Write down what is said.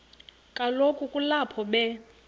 kaloku kulapho be